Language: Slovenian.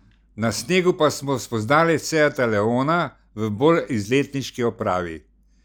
Na snegu pa smo spoznali seata leona v bolj izletniški opravi.